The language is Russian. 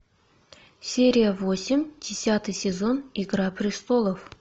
серия восемь десятый сезон игра престолов